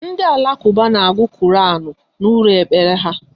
Ndị Alakuba n'agu koranu n'ụlọ ekpere ha